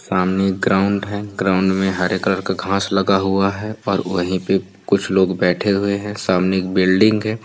सामने एक ग्राउन्ड है ग्राउन्ड में हरे कलर का घाँस लगा हुआ है पर वही पे कुछ लोग बैठे हुए है। सामने एक बिल्डिंग है।